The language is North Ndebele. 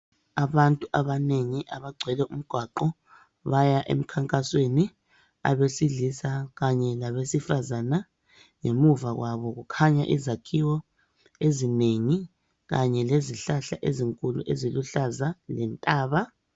Abantu abanengi abagcwele umgwaqo baya emkhankasweni, abesilisa kanye labesifazana. Ngemuva kwabo kukhanya izakhiwo ezinengi kanye lezihlahla ezinkulu eziluhlaza lentaba.